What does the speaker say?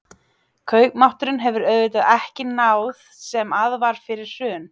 Kaupmátturinn hefur auðvitað ekki náð sem að var fyrir hrun?